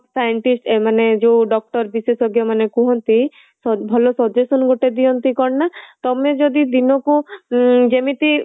scientists ଏମାନେ ଯୋଉ doctor ବିଶେଷଜ୍ଞ ମାନେ କୁହନ୍ତି ଭଲ suggestion ଗୋଟେ ଦିଅନ୍ତି କଣ ନା ତମେ ଯଦି ଦିନକୁ ଯେମିତି